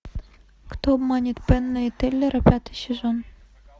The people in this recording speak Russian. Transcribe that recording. кто обманет пенна и теллера пятый сезон